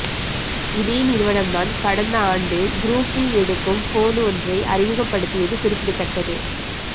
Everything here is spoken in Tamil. இதே நிறுவனம்தான் கடந்த ஆண்டு குருப்ஃபி எடுக்கும் போன் ஒன்றை அறிமுகப்படுத்தியது குறிப்பிடத்தக்கது